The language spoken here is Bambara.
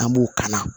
An b'u kanna